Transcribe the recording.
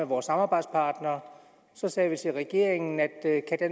vores samarbejdspartnere sagde vi til regeringen at